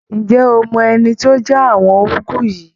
Ǹjẹ́ o mọ ẹni tó já àwọn úgú yìí?